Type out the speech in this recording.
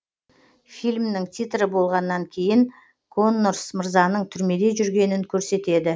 фильмнің титрі болғаннан кейін коннорс мырзаның түрмеде жүргенін көрсетеді